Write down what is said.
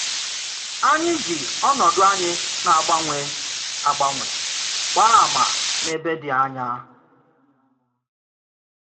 Ànyị jì ònòdù anyị na-agbànwè agbànwè gbàá àmà n’èbé dị ànyà.